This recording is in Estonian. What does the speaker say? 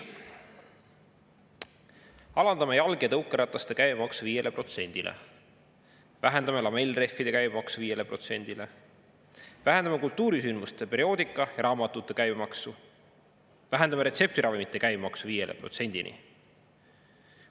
"Alandame jalg- ja tõukerataste käibemaksu 5%-le."; "Vähendame lamellrehvide käibemaksu 5%-le."; "Vähendame kultuurisündmuste, perioodika ja raamatute käibemaksu."; "Vähendame retseptiravimite käibemaksu 5%-ni.